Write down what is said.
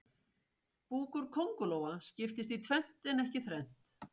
Búkur kóngulóa skiptist í tvennt en ekki þrennt.